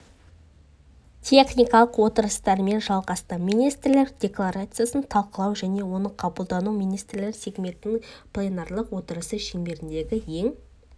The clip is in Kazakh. техникалық отырыстармен жалғасты министрлер декларациясын талқылау мен оның қабылдануы министрлер сегментінің пленарлық отырысы шеңберіндегі ең